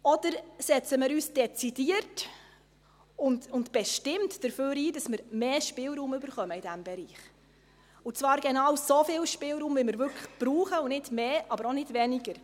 Oder: Setzen wir uns dezidiert und bestimmt dafür ein, dass wir in diesem Bereich mehr Spielraum bekommen, und zwar genau so viel Spielraum, wie wir wirklich brauchen, und nicht mehr, aber auch nicht weniger?